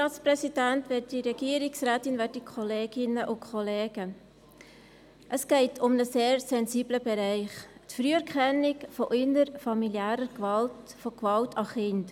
Es geht um einen sehr sensiblen Bereich, um die Früherkennung von innerfamiliärer Gewalt, von Gewalt an Kindern.